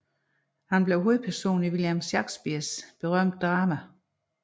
Han blev hovedperson i William Shakespeares berømte drama